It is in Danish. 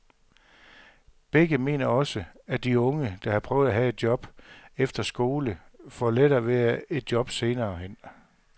Begge mener også, at de unge, der har prøvet at have et job efter skole, får lettere ved at få et job senere hen.